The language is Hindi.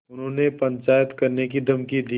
उन्होंने पंचायत करने की धमकी दी